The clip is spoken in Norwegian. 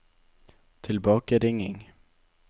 tilbakeringing